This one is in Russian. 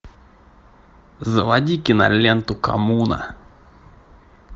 заводи киноленту коммуна